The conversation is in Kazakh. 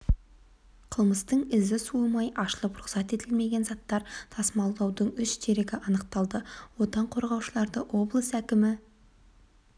қылмыстың ізі суымай ашылып рұқсат етілмеген заттар тасымалдаудың үш дерегі анықталды отан қорғаушыларды облыс әкімі